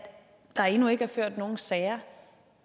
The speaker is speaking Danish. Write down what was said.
der endnu ikke er ført nogen sager